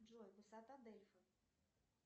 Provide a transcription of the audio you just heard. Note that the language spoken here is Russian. джой высота дельфы